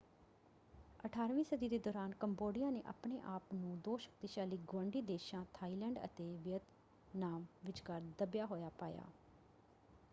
18ਵੀਂ ਸਦੀ ਦੇ ਦੌਰਾਨ ਕੰਬੋਡੀਆ ਨੇ ਆਪਣੇ ਆਪ ਨੂੰ ਦੋ ਸ਼ਕਤੀਸ਼ਾਲੀ ਗੁਆਂਢੀ ਦੇਸ਼ਾਂ ਥਾਈਲੈਂਡ ਅਤੇ ਵੀਅਤਨਾਮ ਵਿਚਕਾਰ ਦੱਬਿਆ ਹੋਇਆ ਪਾਇਆ।